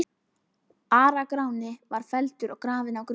Ara-Gráni var felldur og grafinn á Grund.